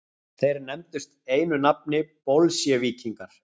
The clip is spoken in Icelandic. Þeir nefndust einu nafni bolsévíkingar.